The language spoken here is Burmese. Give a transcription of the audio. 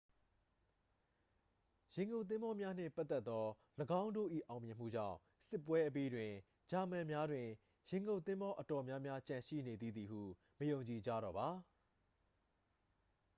ရေငုပ်သင်္ဘောများနှင့်ပတ်သက်သော ၎င်းတို့၏အောင်မြင်မှုကြောင့် စစ်ပွဲအပြီးတွင် ဂျာမန်များတွင် ရေငုပ်သင်္ဘောအတော်များများကျန်ရှိနေသေးသည်ဟု မယုံကြည်ကြတော့ပါ